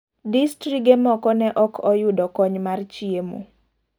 Distrige moko ne okoyudo kony mar chiemo.